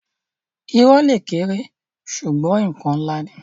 Irọ́ le kéré ṣugbọn nkan nlá ni.